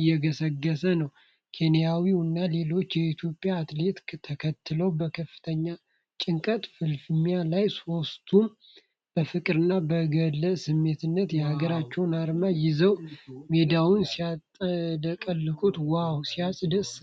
እየገሰገሰ ነው። ኬንያዊው እና ሌላኛው ኢትዮጵያዊ አትሌት ተከትለውት በከፍተኛ ጭንቀትና ፍልሚያ ላይ ሦስቱም በፍቅርና በጋለ ስሜት የሀገራቸውን አርማ ይዘው ሜዳውን ሲያጥለቀልቁ ዋው ሲያስደስት!